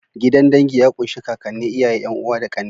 Gidan dangi ya ƙunshi ƙaƙane, iyaye,'Yan'uwa da ƙanne.